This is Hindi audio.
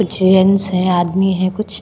जेंट्स है आदमी है कुछ --